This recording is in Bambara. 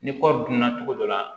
Ni kɔɔri dun na cogo dɔ la